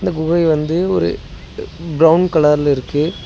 குகை வந்து ஒரு புரவுன் கலர்ல இருக்கு.